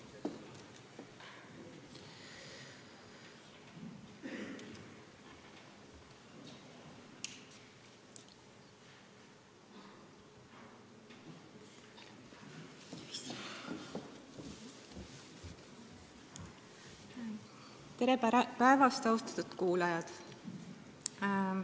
Tere päevast, austatud kuulajad!